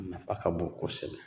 Nafa ka bon kosɛbɛ